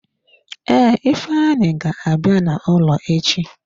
Ee, ifeanyi ga-abịa n'ụlọ echi.